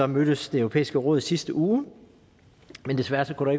mødtes det europæiske råd i sidste uge men desværre kunne